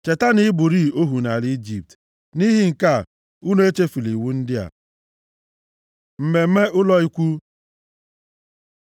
Cheta na ị bụrị ohu nʼala Ijipt, nʼihi nke a, unu echefula iwu ndị a. Mmemme ụlọ ikwu